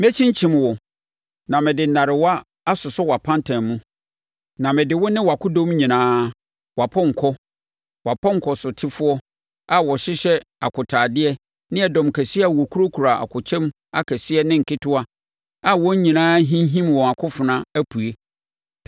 Mɛkyinkyim wo na mede nnarewa asosɔ wʼapantan mu, na mede wo ne wʼakodɔm nyinaa, wʼapɔnkɔ, wʼapɔnkɔtesofoɔ a wɔhyehyɛ akotaadeɛ ne ɛdɔm kɛseɛ a wɔkurakura akokyɛm akɛseɛ ne nketewa a wɔn nyinaa rehinhim wɔn akofena, apue.